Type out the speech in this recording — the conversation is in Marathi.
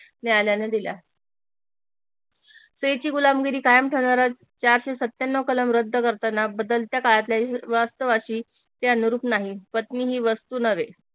न्यायालयान दिला स्त्रिची गुलामगिरी कायम ठेवणारा चारशे सत्त्याण्णव कलम रद्द करताना बदलत्या काळातल्या वास्तवाशी ते अनुरूप नाही पत्नी ही वस्तू नव्हे